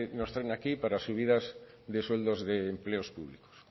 nos traen aquí para subidas de sueldos de empleos públicos